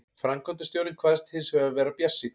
Framkvæmdastjórinn kvaðst hins vegar vera bjartsýnn